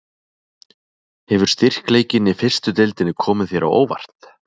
Hefur styrkleikinn í fyrstu deildinni komið þér á óvart?